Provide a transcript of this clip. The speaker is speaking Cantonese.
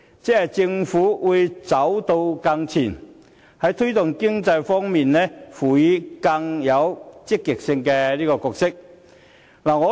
即是說，政府會走得更前，在推動經濟方面，擔當更積極的角色。